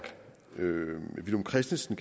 villum christensen